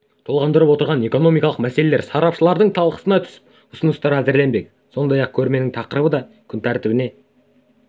толғандырып отырған экономикалық мәселелер сарапшылардың талқысына түсіп ұсыныстар әзірленбек сондай-ақ көрмесінің тақырыбы да күн тәртібіне